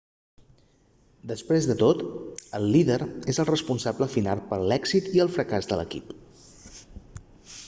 després de tot el líder és el responsable final per a l'èxit i el fracàs de l'equip